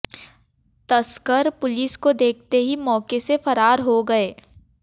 तस्कर पुलिस को देखते ही मौके से फरार हो गए